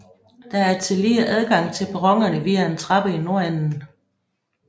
Der er tillige adgang til perronerne via en trappe i nordenden